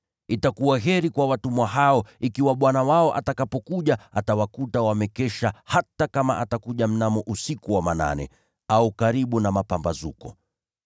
Itakuwa heri kwa watumwa hao ikiwa bwana wao atakapokuja atawakuta wamekesha hata kama atakuja mnamo usiku wa manane, au karibu na mapambazuko.